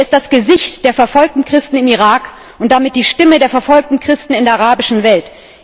Er ist das Gesicht der verfolgten Christen im Irak und damit die Stimme der verfolgten Christen in der arabischen Welt.